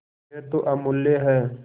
यह तो अमुल्य है